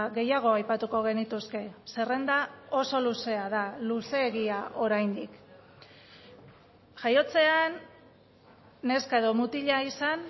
gehiago aipatuko genituzke zerrenda oso luzea da luzeegia oraindik jaiotzean neska edo mutila izan